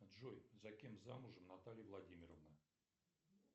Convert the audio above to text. джой за кем замужем наталья владимировна